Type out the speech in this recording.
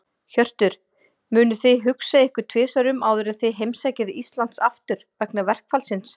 Hjörtur: Munuð þið hugsa ykkur um tvisvar áður en þið heimsækið Íslands aftur, vegna verkfallsins?